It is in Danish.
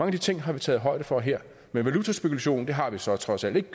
af de ting har vi taget højde for her valutaspekulation har vi så trods alt ikke